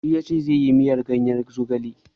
Shi yace zai yi miyar ganyen zogalen.